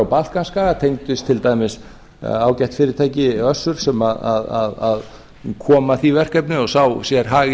balkanskaga tengdust til dæmis ágætu fyrirtæki össuri sem kom að því verkefni og sá sér hag í